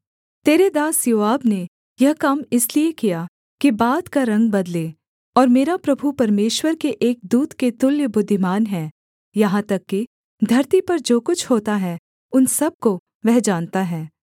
तेरे दास योआब ने यह काम इसलिए किया कि बात का रंग बदले और मेरा प्रभु परमेश्वर के एक दूत के तुल्य बुद्धिमान है यहाँ तक कि धरती पर जो कुछ होता है उन सब को वह जानता है